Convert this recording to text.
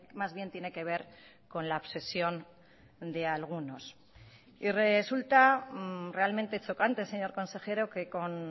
más bien tiene que ver con la obsesión de algunos y resulta realmente chocante señor consejero que con